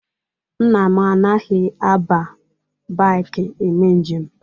Nna m anaghị aba baiki eme njem